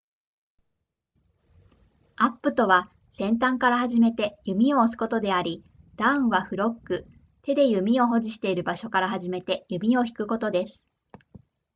アップとは先端から始めて弓を押すことでありダウンはフロッグ手で弓を保持している場所から始めて弓を引くことです